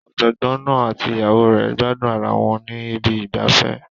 Ọ̀jọ̀gbọ́n náà àti ìyàwó rẹ̀ ń gbádùn ara wọn ní ibi ìgbafẹ́.